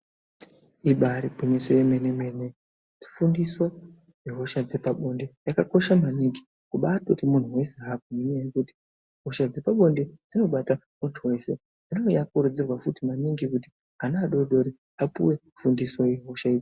Ibairi gwinyiso yemene mene fundiso ye hosha dzepa bonde yakakosha maningi kubai toti munhu wese agwinye nekuti hosha dzepa bonde dzinobata muntu wese inenge ya kurudzirwa futi maningi kuti ana adodori apuwe fundiso ye hosha idzi.